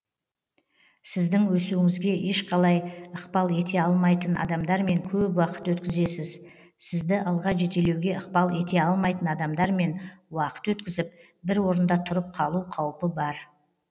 сіздің өсуіңізге ешқалай ықпал ете алмайтын адамдармен көп уақыт өткізесіз сізді алға жетелеуге ықпал ете алмайтын адамдармен уақыт өткізіп бір орында тұрып қалу қаупі бар